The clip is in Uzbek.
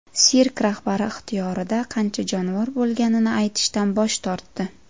Sirk rahbari ixtiyorida qancha jonivor bo‘lganini aytishdan bosh tortdi.